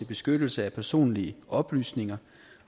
beskyttelse af personlige oplysninger